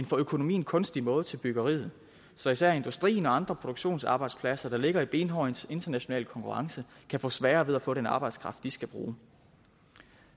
for økonomien kunstig måde til byggeriet så især industrien og andre produktionsarbejdspladser der ligger i benhård international konkurrence kan få sværere ved at få den arbejdskraft de skal bruge